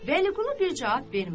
Vəliqulu bir cavab vermədi.